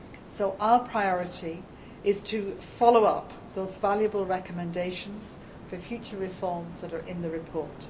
So, our priority is to follow up the valuable recommendations for future reforms that are in the report.